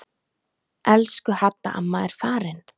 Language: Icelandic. Elsku Hadda amma er farin.